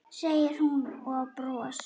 segir hún og bros